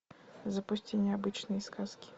запусти необычные сказки